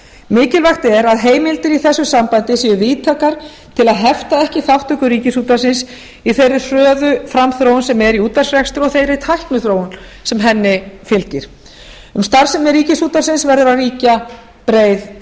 mikilvægt er að heimildir í þessu sambandi séu víðtækar til að hefta ekki þátttöku ríkisútvarpsins í þeirri hröðu framþróun sem er í útvarpsrekstri og þeirri tækniþróun sem henni fylgir um starfsemi ríkisútvarpsins verður að ríkja breið